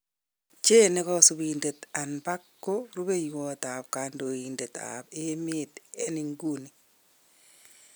Jane ne kosibindet an Park ko rubewot ab kondoidet ab emet an inguni.